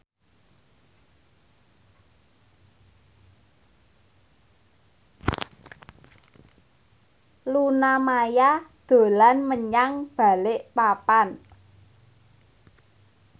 Luna Maya dolan menyang Balikpapan